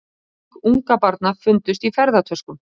Lík ungbarna fundust í ferðatöskum